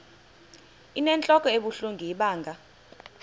inentlok ebuhlungu ibanga